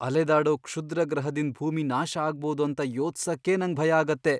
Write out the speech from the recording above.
ಅಲೆದಾಡೋ ಕ್ಷುದ್ರಗ್ರಹದಿಂದ್ ಭೂಮಿ ನಾಶ ಅಗ್ಬೋದು ಅಂತ ಯೊಚ್ಸಕೆ ನಂಗ್ ಭಯ ಆಗುತ್ತೆ.